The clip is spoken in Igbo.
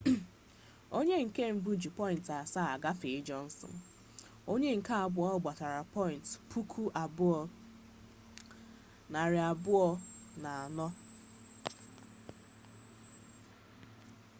onye nke mbụ ji pọyịnt asaa gafee jọnsịn onye nke abụọ gbatara pọyịnt 2243